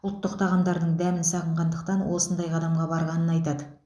ұлттық тағамдарының дәмін сағынғандықтан осындай қадамға барғанын айтады